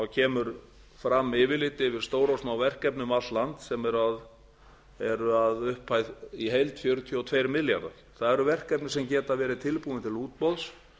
kemur fram yfirlit yfir stór og smá verkefni um allt land sem eru að upphæð í heild fjörutíu og tveir milljarðar það eru verkefni sem geta verið tilbúin til útboðs